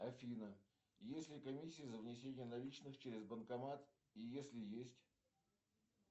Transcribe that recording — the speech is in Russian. афина есть ли комиссия за внесение наличных через банкомат и если есть